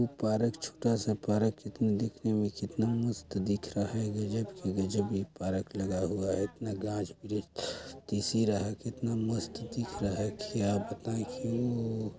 एक पार्क है छोटा सा पार्क लेकिन दिखने में कितना मस्त दिख रहा है गजब ही गजब यह पार्क लगा हुआ है इतना घास भी है दिख रहा है कितना मस्त दिख रहा है क्या बताये --